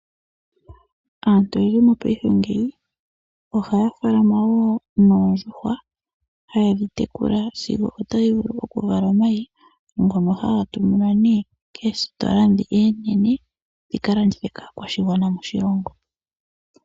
Aantu oyendji mopaife ngeyi ohaya faalama woo noondjuhwa, haye dhi tekula sigo otadhi vulu okuvala omayi ngono haga tuminwa koositola oonene dhika landithwe kaakwashigwana moshilongo.